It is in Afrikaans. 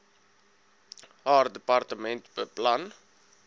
haar departement beplan